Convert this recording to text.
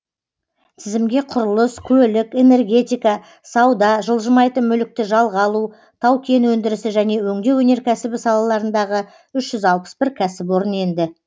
тізімге құрылыс көлік энергетика сауда жылжымайтын мүлікті жалға алу тау кен өндірісі және өңдеу өнеркәсібі салаларындағы үш жүз алпыс бір кәсіпорын енді